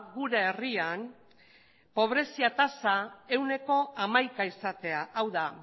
gure herrian pobrezia tasa ehuneko hamaika izatea hau da